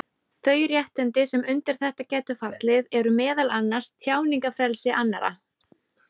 Þau réttindi sem undir þetta gætu fallið eru meðal annars tjáningarfrelsi annarra.